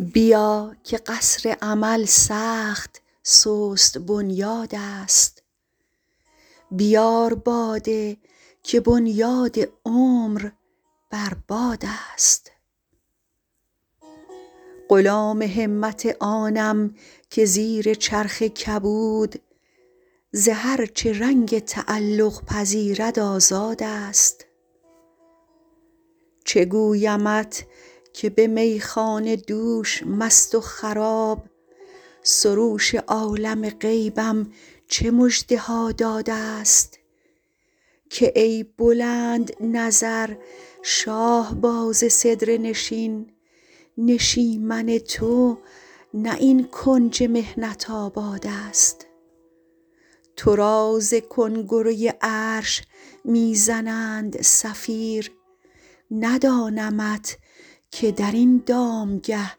بیا که قصر امل سخت سست بنیادست بیار باده که بنیاد عمر بر بادست غلام همت آنم که زیر چرخ کبود ز هر چه رنگ تعلق پذیرد آزادست چه گویمت که به میخانه دوش مست و خراب سروش عالم غیبم چه مژده ها دادست که ای بلندنظر شاهباز سدره نشین نشیمن تو نه این کنج محنت آبادست تو را ز کنگره عرش می زنند صفیر ندانمت که در این دامگه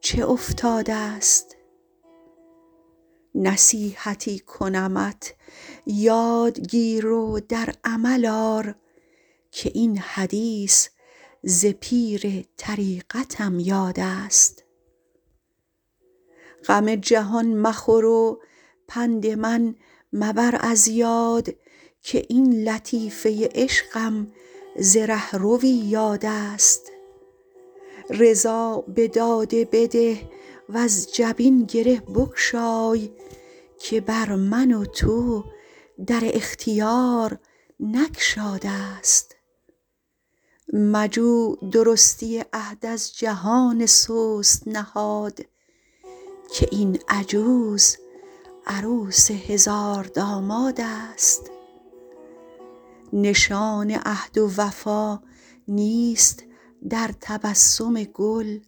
چه افتادست نصیحتی کنمت یاد گیر و در عمل آر که این حدیث ز پیر طریقتم یادست غم جهان مخور و پند من مبر از یاد که این لطیفه عشقم ز رهروی یادست رضا به داده بده وز جبین گره بگشای که بر من و تو در اختیار نگشادست مجو درستی عهد از جهان سست نهاد که این عجوز عروس هزاردامادست نشان عهد و وفا نیست در تبسم گل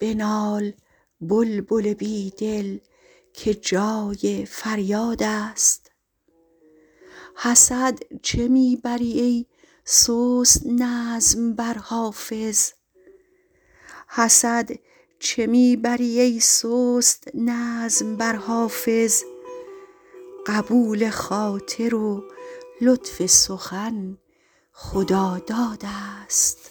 بنال بلبل بی دل که جای فریادست حسد چه می بری ای سست نظم بر حافظ قبول خاطر و لطف سخن خدادادست